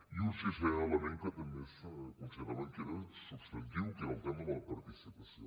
i un sisè element que també consideràvem que era substantiu que era el tema de la participació